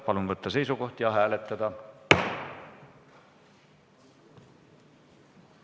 Palun võtta seisukoht ja hääletada!